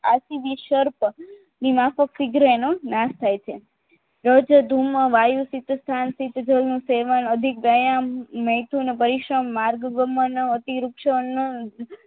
આથી વિશર્ક ની માફક શીગ્ર એનો નાશ થાય છે રજ્ધુમ વાયુ સ્થિત સ્થાનતીત જળનું સેવન અધિક વ્યાયામ મૈથુન પરિશ્રમ માર્ગ ગમન અતીરુક્ષણ